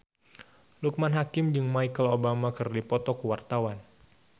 Loekman Hakim jeung Michelle Obama keur dipoto ku wartawan